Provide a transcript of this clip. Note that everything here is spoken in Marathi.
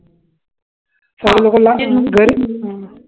काही लोकांना घरी